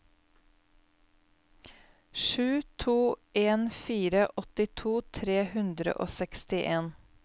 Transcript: sju to en fire åttito tre hundre og sekstien